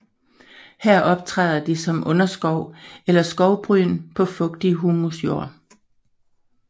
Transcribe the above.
Her optræder de som underskov eller skovbryn på fugtig humusjord